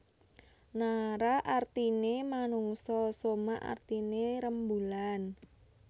Nara artiné manungsa soma artiné rembulan